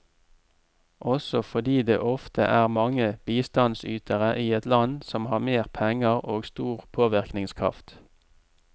Også fordi det ofte er mange bistandsytere i et land som har mer penger og stor påvirkningskraft.